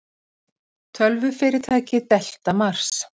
Tölvufyrirtæki, Delta Mars.